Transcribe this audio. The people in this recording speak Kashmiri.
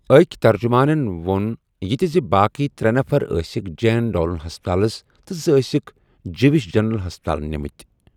أکۍ ترجمانَن وون یہِ تہِ زِ باقی ترے افراد ٲسِکھ جین ٹالون ہَسپتَال تہٕ زٕ ٲسِکھ جِوِش جنرل ہَسپتَال نِمٕتھ۔